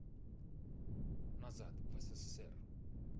назад в ссср